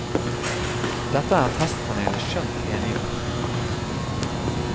Dette er testpanelet skjønt enige om.